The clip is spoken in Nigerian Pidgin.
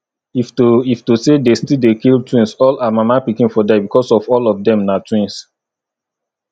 if to if to say de still dey kill twins all her mama pikin for die because all of dem na twins